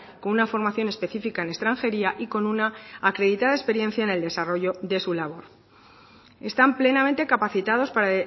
con una formación específica en extranjería y con una acreditada experiencia en el desarrollo de su labor están plenamente capacitados para